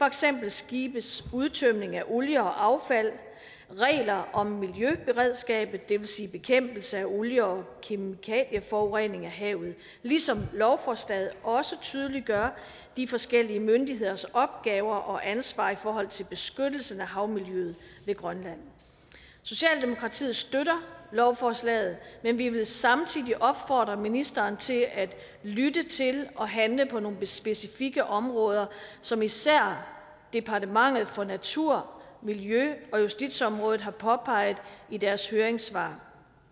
eksempel skibes udtømning af olie og affald regler om miljøberedskabet det vil sige bekæmpelse af olie og kemikalieforurening af havet ligesom lovforslaget også tydeliggør de forskellige myndigheders opgaver og ansvar i forhold til beskyttelsen af havmiljøet ved grønland socialdemokratiet støtter lovforslaget men vi vil samtidig opfordre ministeren til at lytte til og handle på nogle specifikke områder som især departementet for natur og miljø og justitsområdet har påpeget i deres høringssvar